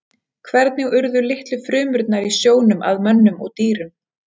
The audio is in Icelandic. Hvernig urðu litlu frumurnar í sjónum að mönnum og dýrum?